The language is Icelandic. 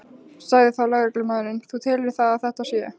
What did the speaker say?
Sagði þá lögreglumaðurinn: Þú telur það að þetta sé?